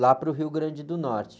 lá para o Rio Grande do Norte.